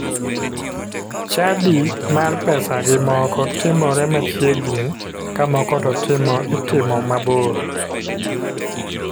Chadi mar pesagi moko timore machiegini ka moko to itimo mabor.